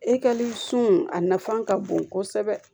E ka sun a nafan ka bon kosɛbɛ